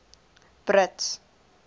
brits